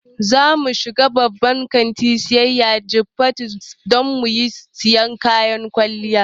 Zamu shiga babban kantin siyayya na Jifatu don mu siyo kayan kwalliya